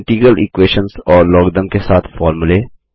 integral equations और logarithm के साथ फॉर्मूले